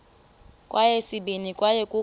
kweyesibini kwaye kukho